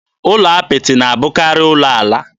Ụlọ apịtị na-abụkarị ụlọ ala.